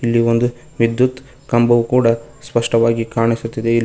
ಇಲ್ಲಿ ಒಂದು ವಿದ್ಯುತ್ ಕಂಬವು ಕೂಡ ಸ್ಪಷ್ಟವಾಗಿ ಕಾಣಿಸುತ್ತಿದೆ ಇಲ್--